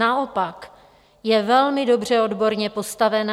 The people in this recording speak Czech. Naopak, je velmi dobře odborně postavená.